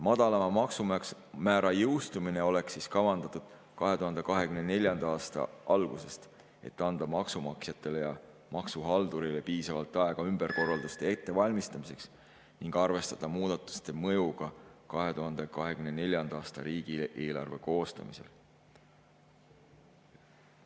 Madalama maksumäära jõustumine oleks kavandatud 2024. aasta algusesse, et anda maksumaksjatele ja maksuhaldurile piisavalt aega ümberkorralduste ettevalmistamiseks ning saaks arvestada muudatuste mõjuga 2024. aasta riigieelarve koostamisel.